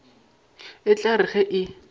e tla re ge e